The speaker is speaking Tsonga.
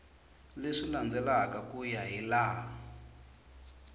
leswi landzelaka ku ya hilaha